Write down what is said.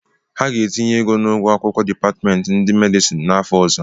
Ha ga-etinye ego n'ụgwọ akwụkwọ dipatịmentị ndị medịsin n'afọ ọzọ.